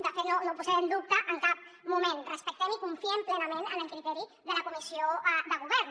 de fet no ho posem en dubte en cap moment respectem i confiem plenament en el criteri de la comissió de govern